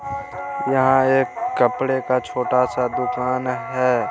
यहाँ एक कपड़े का छोटा सा दुकान है।